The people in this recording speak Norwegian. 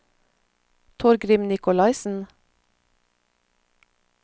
Torgrim Nicolaisen